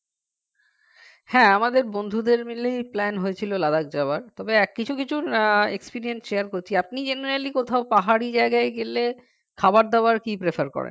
হ্যাঁ আমাদের বন্ধুদের মিলেই plan হয়েছিল Ladakh যাওয়ার তবে কিছু কিছু আহ accident share করছি আপনি generally কোথাও পাহাড়ি জায়গায় গেলে খাবার দাবার কি prefer করেন